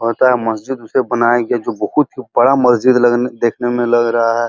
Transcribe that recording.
कहता है। मस्ज़िद उसे बनाया गया है जो बहोत बड़ा मस्ज़िद लगने देखने में लग रहा है।